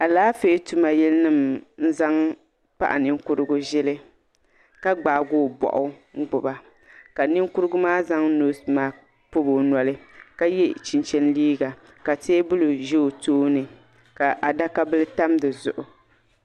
Alaafee tuma yili nima n-zaŋ paɣa ninkurugu ʒili ka gbaagi o bɔɣu n-gbuba ka ninkurugu maa zaŋ noosi masik pɔbi o noli ka ye chinchini liiga ka teebuli ʒe o tooni ka adaka bila tam di zuɣu.